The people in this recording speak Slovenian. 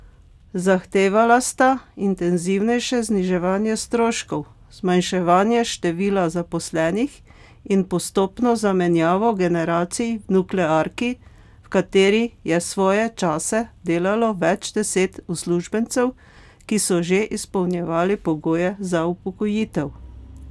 Zahtevala sta intenzivnejše zniževanje stroškov, zmanjševanje števila zaposlenih in postopno zamenjavo generacij v nuklearki, v kateri je svoje čase delalo več deset uslužbencev, ki so že izpolnjevali pogoje za upokojitev.